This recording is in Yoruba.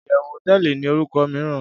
iyewu hoteeli ni oruko miiran